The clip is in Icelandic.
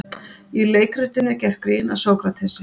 í leikritinu er gert grín að sókratesi